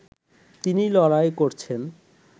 তিনি লড়াই করছেন